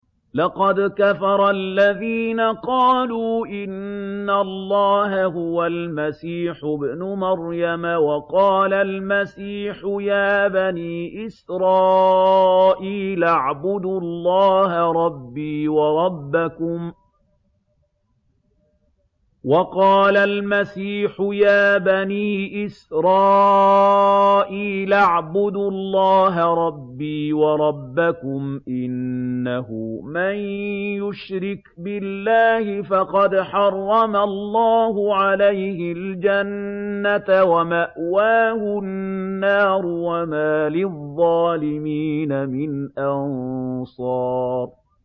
لَقَدْ كَفَرَ الَّذِينَ قَالُوا إِنَّ اللَّهَ هُوَ الْمَسِيحُ ابْنُ مَرْيَمَ ۖ وَقَالَ الْمَسِيحُ يَا بَنِي إِسْرَائِيلَ اعْبُدُوا اللَّهَ رَبِّي وَرَبَّكُمْ ۖ إِنَّهُ مَن يُشْرِكْ بِاللَّهِ فَقَدْ حَرَّمَ اللَّهُ عَلَيْهِ الْجَنَّةَ وَمَأْوَاهُ النَّارُ ۖ وَمَا لِلظَّالِمِينَ مِنْ أَنصَارٍ